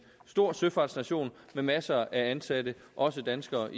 stor søfartsnation med masser af ansatte også af danskere